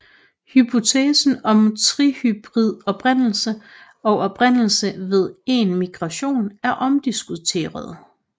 Hypoteser om trihybrid oprindelse og oprindelse ved een migration er omdiskuterede